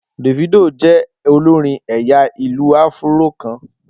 Davido jẹ́ olórin ẹ̀yà ìlù-áfúró kan